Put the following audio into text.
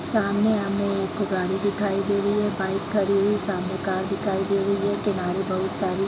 सामने हमें एक गाड़ी दिखाई दे रही है बाइक खड़ी है सामने कार दिखाई दे रही है किनारे बहुत सारी --